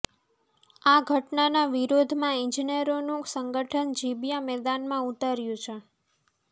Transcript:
આ ઘટનાના વિરોધમાં ઈજનેરોનું સંગઠન જીબીયા મેદાનમાં ઉતર્યું છે